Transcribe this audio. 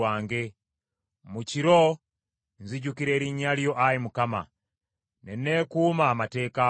Mu kiro nzijukira erinnya lyo, Ayi Mukama , ne neekuuma amateeka go.